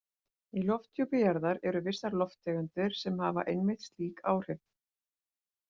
Í lofthjúpi jarðar eru vissar lofttegundir sem hafa einmitt slík áhrif.